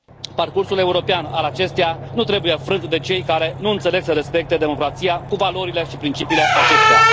Parcursul european al acesteia nu trebuie frânt de cei care nu înțeleg să respecte democrația, cu valorile și principiile acesteia.